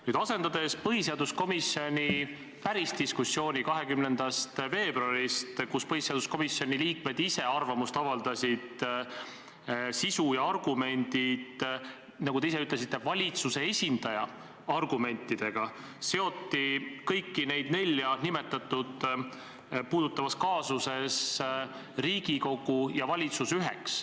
Nüüd, asendades põhiseaduskomisjoni päris diskussiooni – mis toimus 20. veebruaril ja kus põhiseaduskomisjoni liikmed ise arvamust avaldasid – sisu ja argumendid, nagu te ise ütlesite, valitsuse esindaja argumentidega, seoti kõiki neid nelja nimetatut puudutavas kaasuses Riigikogu ja valitsus üheks.